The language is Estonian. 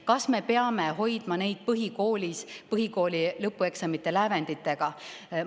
Kas me peame hoidma neid põhikoolis põhikooli lõpueksamite lävenditega?